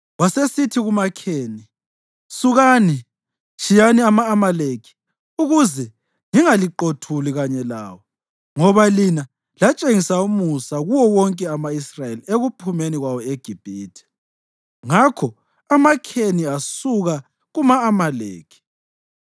Wasesithi kumaKheni, “Sukani, tshiyani ama-Amaleki ukuze ngingaliqothuli kanye lawo; ngoba lina latshengisa umusa kuwo wonke ama-Israyeli ekuphumeni kwawo eGibhithe.” Ngakho amaKheni asuka kuma-Amaleki.